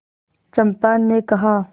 चंपा ने कहा